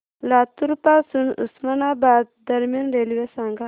लातूर पासून उस्मानाबाद दरम्यान रेल्वे सांगा